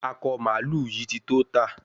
Akọ mààlúù yí tí tó tá